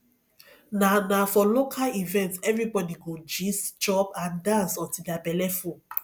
na na for local events everybody go gist chop and dance until their belle full